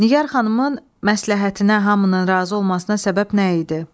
Nigar xanımın məsləhətinə hamının razı olmasına səbəb nə idi?